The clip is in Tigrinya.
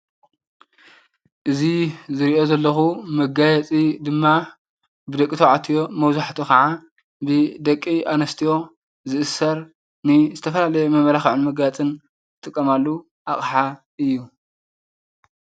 እዚ ዝሪኦ ዘለኩ መጋየፂ ድማ ብደቂ ተባዕትዮ መብዛሕትኡ ድማ ብደቂ ኣንስትዮ ዝእሰር ናይ ዝተፈላለየ መመላኽዕን መጋየፅን ዝጥቀማሉ ኣቕሓ እዩ ።